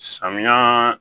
Samiya